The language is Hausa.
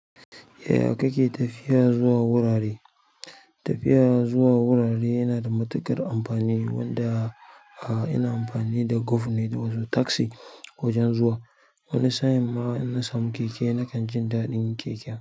Yaya ka ke tafiya zuwa wurare. Tafiya zuwa wurare yana da matuƙar amfani wanda a ina amfani da gov ne wato taxi wajen zuwa. Wani sa'in ma in na samu keke na kan jin daɗin keken.